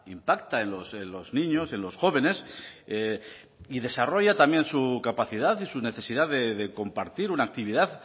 impacta en los niños en los jóvenes y desarrolla también su capacidad y su necesidad de compartir una actividad